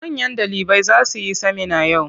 Manyan ɗalibai za su yi semina yau.